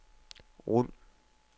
rul